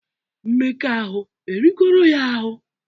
Mmekọahụ erigoro ya ahụ?